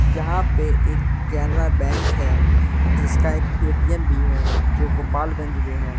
यहां पे एक केनरा बैंक है जिसका एक ए_टी_एम भी है। जो गोपालगंज में है।